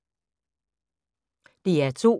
DR2